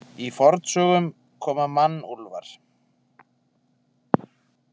Í fornsögunum koma mannúlfar.